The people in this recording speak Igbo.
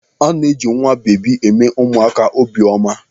A na-eji nwabebi eme ụmụaka obi ọma.